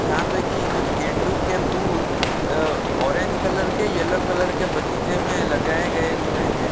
जहाँ पे कि कुछ गेंडु के फुल अह ऑरेंज कलर के येलो कलर के बगीचे में लगाए गए हुए हैं।